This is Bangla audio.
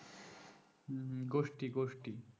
হুম গোষ্ঠী গোষ্ঠী